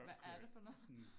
Hvad er det for noget?